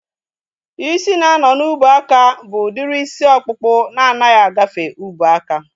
Ịsị na-anọ n'ubuaka bụ udiri isi ọkpụkpụ na anaghị agafe ubuaka